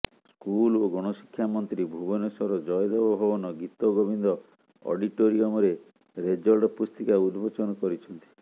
school ଓ ଗଣଶିକ୍ଷା ମନ୍ତ୍ରୀ ଭୁବନେଶ୍ବର ଜୟଦେବ ଭବନ ଗୀତଗୋବିନ୍ଦ ଅଡିଟୋରିୟମରେ ରେଜଲ୍ଟ ପୁସ୍ତିକା ଉନ୍ମୋଚନ କରିଛନ୍ତି